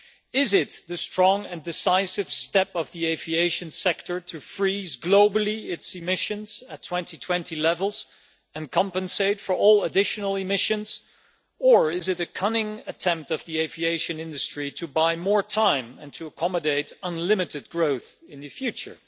Is it the strong and decisive step of the aviation sector to freeze its emissions globally at 2020 levels and compensate for all additional emissions, or is it a cunning attempt by the aviation industry to buy more time and to accommodate unlimited growth in the future?